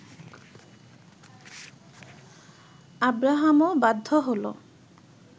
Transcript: আব্রাহামও বাধ্য হল